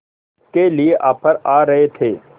के लिए ऑफर आ रहे थे